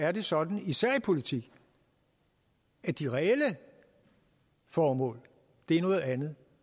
er det sådan især i politik at de reelle formål er noget andet